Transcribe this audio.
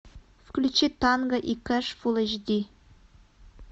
включи танго и кэш фул эйч ди